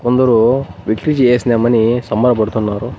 కొందరు విట్లు చేసినం అని సంబర పడుతున్నారు.